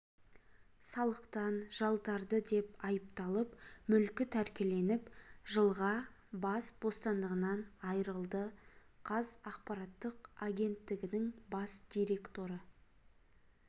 салықтан жалтарды деп айыпталып мүлкі тәркіленіп жылға бас бостандығынан айырылды қаз ақпараттық агенттігінің бас директоры